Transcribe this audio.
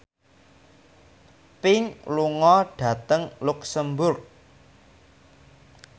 Pink lunga dhateng luxemburg